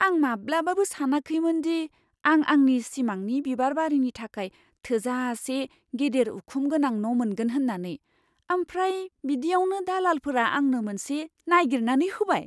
आं माब्लाबाबो सानाखैमोनदि आं आंनि सिमांनि बिबारबारिनि थाखाय थोजासे गेदेर उखुम गोनां न' मोनगोन होन्नानै, आमफ्राय बिदियावनो दालालफोरा आंनो मोनसे नायगिरनानै होबाय।